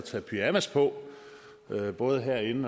ved hvordan